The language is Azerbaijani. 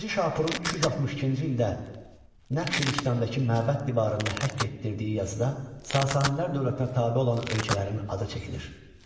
Birinci Şapurun 262-ci ildə Nəqşi Rüstəmdəki məbəd divarında həkk etdirdiyi yazıda Sasanilər dövlətinə tabe olan ölkələrin adı çəkilir.